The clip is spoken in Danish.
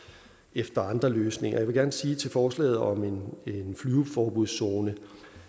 efter andre løsninger jeg vil gerne sige til forslaget om en flyveforbudszone